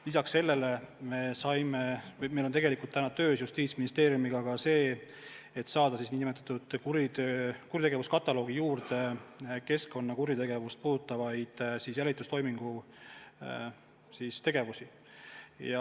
Lisaks sellele on meil Justiitsministeeriumiga käsil töö, et saada nn kuritegevuskataloogi juurde keskkonnakuritegevust puudutavaid jälitustoimingu tegevusi.